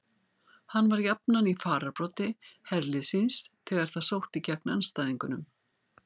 Hann var jafnan í fararbroddi herliðs síns þegar það sótti gegn andstæðingunum.